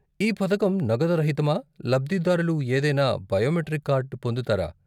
ఈ పథకం నగదు రహితమా, లబ్దిదారులు ఏదైనా బయోమెట్రిక్ కార్డు పొందుతారా?